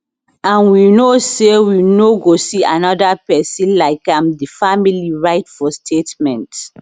and we know say we no go see anoda pesin like am di family write for statement